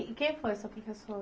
E quem foi essa professora?